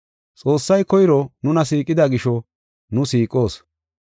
Xoossay koyro nuna siiqida gisho nu siiqoos.